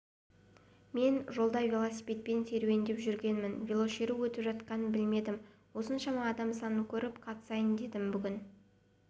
мен жолда велосипедпен серуендеп жүргенмін велошеру өтіп жатқанын білмедім осыншама адам санын көріп қатысайын дедім бүгін